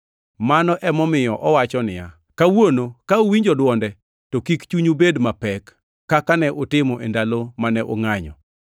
Mano emomiyo owachi niya, “Kawuono ka uwinjo dwonde, to kik chunyu bed mapek, kaka ne utimo e ndalo mane ungʼanyo.” + 3:15 \+xt Zab 95:7,8\+xt*